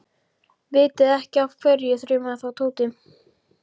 Vitiði ekki af hverju? þrumaði þá Tóti.